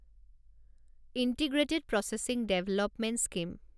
integrated processing development scheme